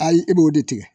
Ayi i b'o de tigɛ